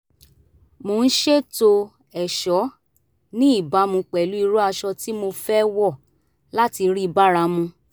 mo ń ṣètò ẹ̀ṣọ́ ní ìbámu pẹ̀lú irú aṣọ tí mo fẹ́ wọ̀ láti rí bára mu